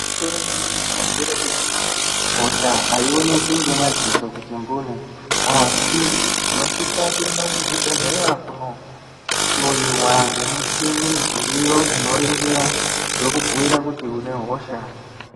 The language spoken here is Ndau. Gwinyiso remene mene nderekuti hosha aioneki nemadziso ega asi unosisa kuenda kuzvibhedhlera kundohloiwa nemichini dziriyo Vachiningira vachibhuirwa kuti une hosha.